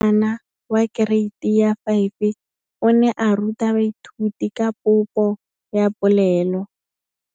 Moratabana wa kereiti ya 5 o ne a ruta baithuti ka popô ya polelô.